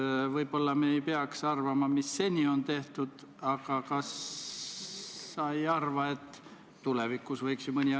See võib mõnevõrra varem juhtuda, aga eelnõust lähtuvalt see nii on, jah.